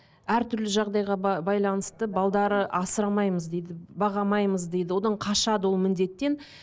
әртүрлі жағдайға байланысты асырамаймыз дейді баға алмаймыз дейді одан қашады ол міндеттен